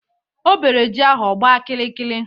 O bere ji ahụ ọgba kiri kiri